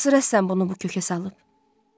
Hansı rəssam bunu bu kökə salıb?